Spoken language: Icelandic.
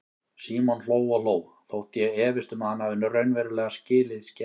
Símon hló og hló, þótt ég efist um að hann hafi raunverulega skilið skensið.